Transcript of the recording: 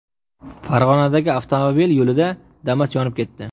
Farg‘onadagi avtomobil yo‘lida Damas yonib ketdi .